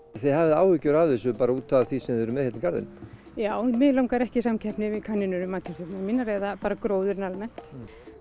þið hafið áhyggjur af þessu bara út af því sem þið eruð með hérna í garðinum já mig langar ekki í samkeppni við kanínur um matjurtirnar mínar eða bara gróðurinn almennt